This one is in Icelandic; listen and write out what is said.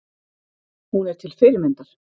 Hún er til fyrirmyndar.